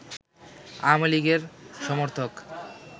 আওয়ামী লীগের সমর্থক